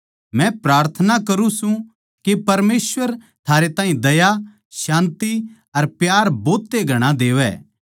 मै प्रार्थना करुँ सूं के परमेसवर थारे ताहीं दया शान्ति अर प्यार भोत ए घणा देवै